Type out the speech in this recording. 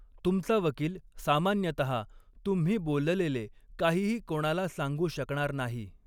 तुमचा वकील सामान्यतः तुम्ही बोललेले काहीही कोणाला सांगू शकणार नाही.